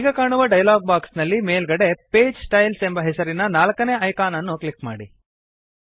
ಈಗ ಕಾಣುವ dialogue box ನಲ್ಲಿ ಮೇಲ್ಗಡೆ ಪೇಜ್ ಸ್ಟೈಲ್ಸ್ ಎಂಬ ಹೆಸರಿನ ನಾಲ್ಕನೇ ಐಕಾನ್ ಅನ್ನು ಕ್ಲಿಕ್ ಮಾಡಿ